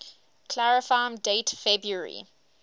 clarifyme date february